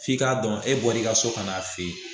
F'i k'a dɔn e bɔr'i ka so kan'a fe yen